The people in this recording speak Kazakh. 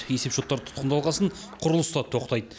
есепшоттар тұтқындалған соң құрылыс та тоқтайды